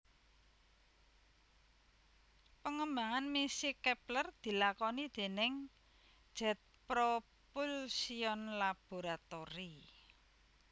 Pengembangan misi Kepler dilakoni déning Jet Propulsion Laboratory